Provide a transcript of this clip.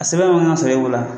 A sɛbɛn mana sɔrɔ e bolo wa